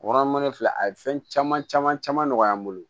Kɔnɔ in filɛ a ye fɛn caman caman caman nɔgɔya n bolo